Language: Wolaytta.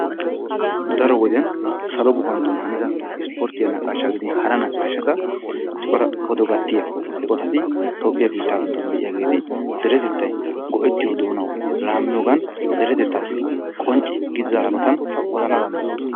Daro wode salo guppantton haanida isporttiyaa nawaashshatagidin hara naqaashshata cora odota gattiyaa eqotati toophphiyaa biittaa giddon de'iyaageti deretettay go"ettiyoo doonawu laammiyoogan deretettaassi qoncce giidida hanootan odana dandayoosona.